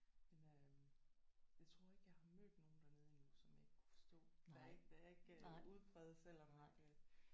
Men øh jeg tror ikke jeg har mødt nogen dernede endnu som jeg ikke kunne forstå der er ikke der er ikke udpræget selvom at øh